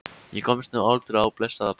Ég komst nú aldrei á blessað ballið.